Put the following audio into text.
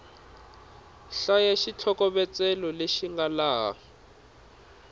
hlaya xitlhokovetselo lexi nga laha